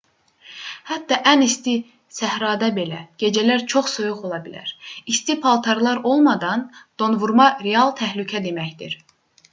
hətta ən isti səhrada belə gecələr çox soyuq ola bilər. i̇sti paltarlar olmadan donvurma real təhlükə deməkdir